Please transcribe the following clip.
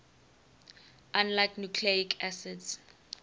unlike nucleic acids